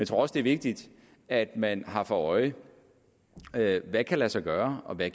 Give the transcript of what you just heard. tror også det er vigtigt at man har for øje hvad der kan lade sig gøre og hvad